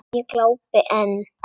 Ég glápi enn.